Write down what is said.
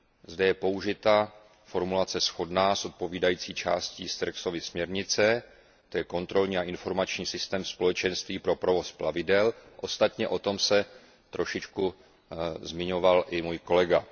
Zde je použita formulace shodná s odpovídající částí Sterckxovy směrnice, tj. kontrolní a informační systém Společenství pro provoz plavidel, ostatně o tom se trošičku zmiňoval i můj kolega.